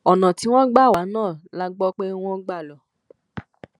ọnà tí wọn gbà wá náà la gbọ pé wọn gbà lọ